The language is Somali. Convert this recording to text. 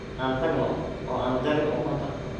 Aan tagno oo aan jarin ukunta.